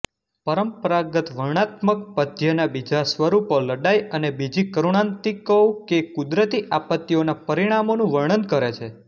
પરંપરાગત વર્ણાનાત્મક પદ્યના બીજા સ્વરૂપો લડાઈ અને બીજી કરુણાંતિકાઓ કેકુદરતી આપત્તિઓના પરિણામોનું વર્ણન કરે છે